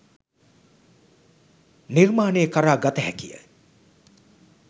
නිර්මාණය කරා ගත හැකිය.